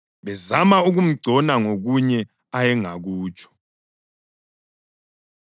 bezama ukumgcona ngokunye ayengakutsho.